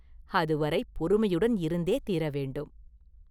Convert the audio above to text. அதுவரை பொறுமையுடன் இருந்தே தீர வேண்டும்.